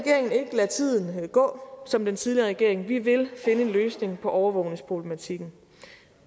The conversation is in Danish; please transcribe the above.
lade tiden gå som den tidligere regering vi vil finde en løsning på overvågningsproblematikken